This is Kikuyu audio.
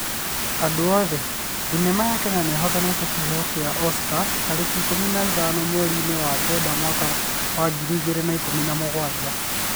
Andũ othe: Thenema ya Kenya nĩihotanĩte kĩheo gĩa Oscars tarĩki ikũmi na ithano mweri-inĩ wa kenda mwaka wa ngiri igĩrĩ na ikũmi na mũgwanja